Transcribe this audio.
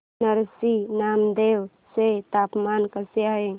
नरसी नामदेव चे तापमान कसे आहे